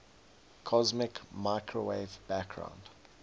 cosmic microwave background